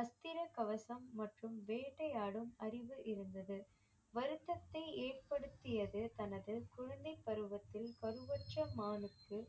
அஸ்திர கவசம் மற்றும் வேட்டையாடும் அறிவு இருந்தது வருத்தத்தை ஏற்படுத்தியது தனது குழந்தை பருவத்தில் பருவற்ற மானுக்கு